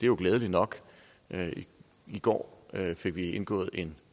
jo glædeligt nok i går fik vi indgået en